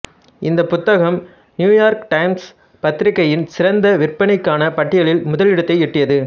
இந்த புத்தகம் New York Times பத்திரிக்கையின் சிறந்த விற்பனைக்கான பட்டியலில் முதலிடத்தை எட்டியது